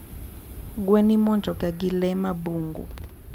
Gwen imonjoga gi lee ma bungu.